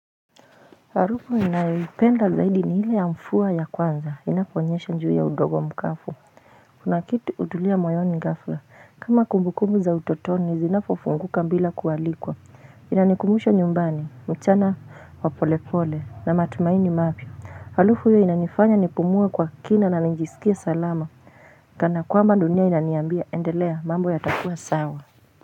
Harufu ninayoipenda zaidi ni ile ya mvua ya kwanza, inaponyesha juu ya udongo mkavu. Kuna kitu hutulia moyoni ghafla, kama kumbukumbu za utotoni, zinapofunguka bila kualikwa. Inanikumbusha nyumbani, mchana wa polepole na matumaini mapya. Harufu hiyo inanifanya nipumue kwa kina na nijisikie salama, kana kwamba dunia inaniambia endelea mambo yatakuwa sawa.